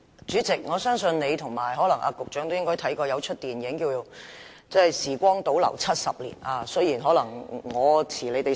主席，我相信你和局長也應該看過一齣名為"時光倒流70年"的電影。